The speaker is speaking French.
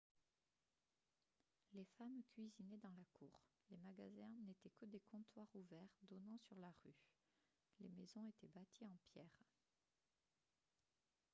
les femmes cuisinaient dans la cour les magasins n'étaient que des comptoirs ouverts donnant sur la rue les maisons étaient bâties en pierres